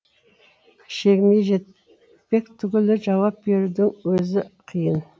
шегіне жетпек түгілі жауап берудің өзі қиын